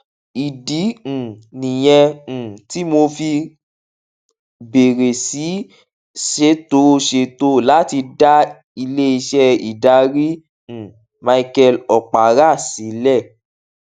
ìdí um nìyẹn um tí mo fi bèrè sí í ṣètò ṣètò láti dá ileiṣẹ ìdarí um michael okpara sílè